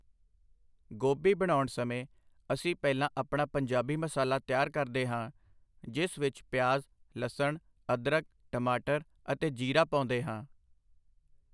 ਗੋਭੀ ਬਣਾਉਣ ਸਮੇਂ ਅਸੀਂ ਪਹਿਲਾਂ ਆਪਣਾ ਪੰਜਾਬੀ ਮਸਾਲਾ ਤਿਆਰ ਕਰਦੇ ਹਾਂ ਜਿਸ ਵਿੱਚ ਪਿਆਜ਼, ਲਸਣ, ਅਦਰਕ, ਟਮਾਟਰ ਅਤੇ ਜ਼ੀਰਾ ਪਾਉਂਦੇ ਹਾਂ।